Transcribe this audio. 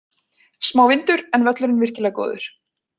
Smá vindur, en völlurinn virkilega góður.